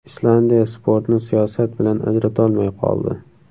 Islandiya sportni siyosat bilan ajratolmay qoldi.